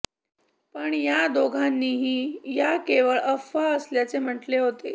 पण या दोघांनीही या केवळ अफवा असल्याचे म्हटले होते